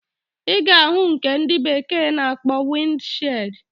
Iga ahu nke ndi bekee na akpo wind shield.